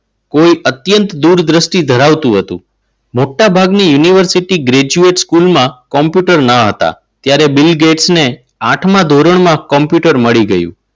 કોઈ અત્યંત દૂરદ્રષ્ટિ ધરાવતું હતું મોટાભાગની યુનિવર્સિટી ગ્રેજ્યુએટ સ્કૂલમાં કોમ્પ્યુટર ન હતા. ત્યારે ત્યારે બિલ ગેટ્સને આઠમા ધોરણમાં કોમ્પ્યુટર મળી ગયું.